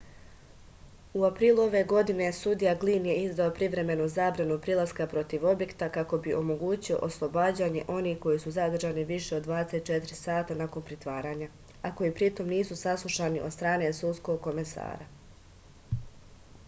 u aprilu ove godine sudija glin je izdao privremenu zabranu prilaska protiv objekta kako bi omogućio oslobađanje onih koji su zadržani više od 24 sata nakon pritvaranja a koji pritom nisu saslušani od strane sudskog komesara